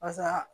Basa